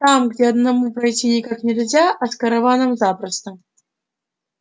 там где одному пройти никак нельзя а с караваном запросто